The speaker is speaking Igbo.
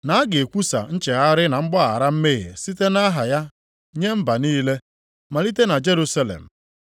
Na a ga-ekwusa nchegharị na mgbaghara mmehie site nʼaha ya nye mba niile, malite na Jerusalem.